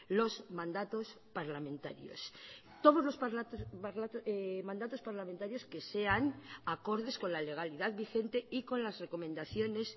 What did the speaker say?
los mandatos parlamentarios todos los mandatos parlamentarios que sean acordes con la legalidad vigente y con las recomendaciones